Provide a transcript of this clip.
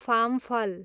फाम्फल